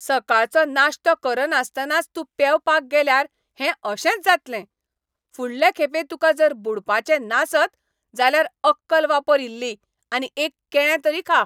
सकाळचो नाश्तो करनासतनाच तूं पेंवपाक गेल्यार हें अशेंच जातलें. फुडले खेपे तुका जर बुडपाचें नासत जाल्यार अक्कल वापर इल्ली आनी एक केळें तरी खा.